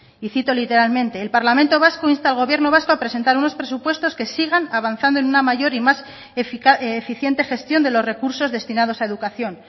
y cito literalmente el parlamento vasco insta al gobierno vasco a presentar unos presupuestos que sigan avanzando en una mayor y más eficiente gestión de los recursos destinados a educación